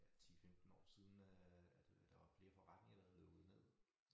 Ja 10 15 år siden øh at øh der var flere forretninger der havde lukket ned